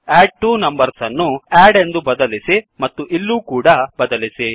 add two numbers ಅನ್ನು add ಎಂದು ಬದಲಿಸಿ ಮತ್ತು ಇಲ್ಲೂ ಕೂಡ ಬದಲಿಸಿ